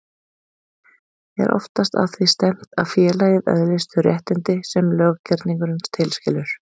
Er oftast að því stefnt að félagið öðlist þau réttindi sem löggerningurinn tilskilur.